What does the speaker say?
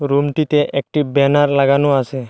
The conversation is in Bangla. রুমটিতে একটি ব্যানার লাগানো আসে।